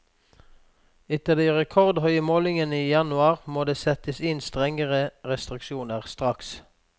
Etter de rekordhøye målingene i januar må det settes inn strenge restriksjoner straks.